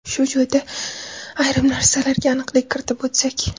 Shu joyda ayrim narsalarga aniqlik kiritib o‘tsak.